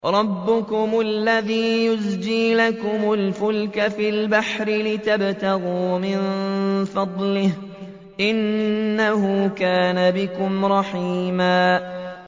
رَّبُّكُمُ الَّذِي يُزْجِي لَكُمُ الْفُلْكَ فِي الْبَحْرِ لِتَبْتَغُوا مِن فَضْلِهِ ۚ إِنَّهُ كَانَ بِكُمْ رَحِيمًا